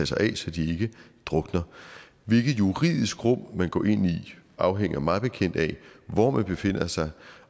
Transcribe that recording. sig af så de ikke drukner hvilket juridisk rum man går ind i afhænger mig bekendt af hvor man befinder sig